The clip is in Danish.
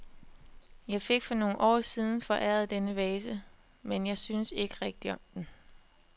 Jeg fik for nogle år siden foræret denne vase, men jeg synes ikke rigtig om den.